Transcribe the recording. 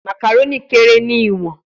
Macaroni kere ni iwọn